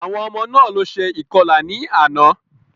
Àwọn ọmọ náà ló ṣe ìkọlà ní àná.